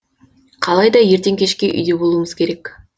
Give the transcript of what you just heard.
қалайда ертең кешке үйде болуымыз керек